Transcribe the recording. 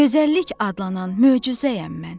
Gözəllik adlanan möcüzəyəm mən.